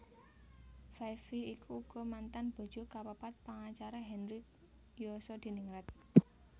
Five Vi iku uga mantan bojo kapapat pangacara Henry Yosodiningrat